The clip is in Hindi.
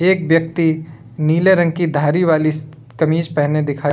एक व्यक्ति नीले रंग की धारी वाली कमीज पहने हुए दिखाया--